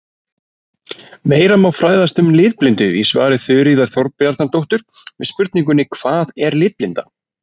Meira má fræðast um litblindu í svari Þuríðar Þorbjarnardóttur við spurningunni Hvað er litblinda?